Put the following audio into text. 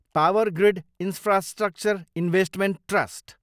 power grid infrastructure investment trust